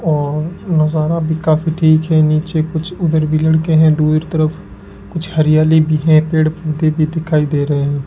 और नजारा भी काफी ठीक है नीचे कुछ उधर भी लड़के हैं दूर तरफ कुछ हरियाली भी है पेड़ पौधे भी दिखाई दे रहे --